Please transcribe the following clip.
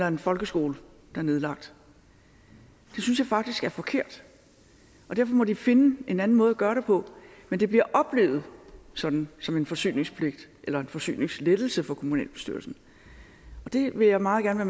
en folkeskole der er nedlagt det synes jeg faktisk er forkert og derfor må de finde en anden måde at gøre det på men det bliver oplevet som som en forsyningspligt eller en forsyningslettelse for kommunalbestyrelsen og det vil jeg meget gerne